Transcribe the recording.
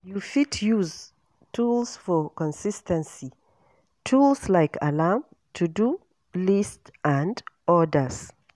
You fit use tools for consis ten cy, tools like alarm, to do list and odas